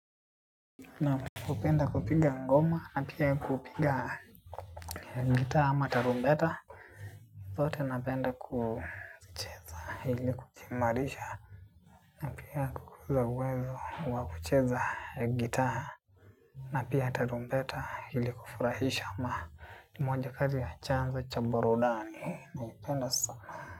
Naam napenda kupiga ngoma na pia kupiga gitaa ama tarumbeta. Zote napenda kucheza hili kuchimarisha. Pia kukuza uwezo wa kucheza gitaa. Na pia tarumbeta hili kufurahisha ama moja kazi ya chanzo cha burudani. Naipenda sama.